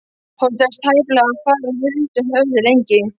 Honum tekst tæplega að fara huldu höfði lengi.